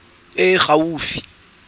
ya lefapha e e gaufi